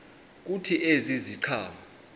kuthi ezi ziqhamo